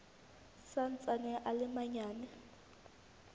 sa ntsaneng a le manyane